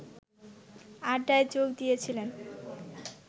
আড্ডায় যোগ দিয়েছিলেন